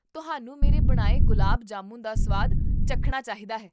ਤੁਹਾਨੂੰ ਮੇਰੇ ਬਣਾਏ ਗੁਲਾਬ ਜਾਮੁਨ ਦਾ ਸਵਾਦ ਚਖਣਾ ਚਾਹੀਦਾ ਹੈ